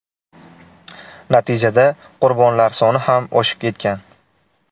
Natijada qurbonlar soni ham oshib ketgan.